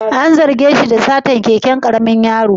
An zarge shi da satar keken karamin yaro?